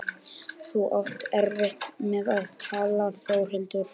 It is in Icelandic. Þú átt erfitt með að tala Þórhildur.